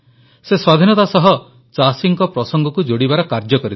ସେ ସ୍ୱାଧୀନତା ସହ ଚାଷୀଙ୍କ ପ୍ରସଙ୍ଗକୁ ଯୋଡ଼ିବାର କାର୍ଯ୍ୟ କରିଥିଲେ